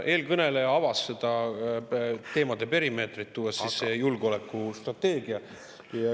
Eelkõneleja avas teemade perimeetrit, tuues sisse julgeolekustrateegia.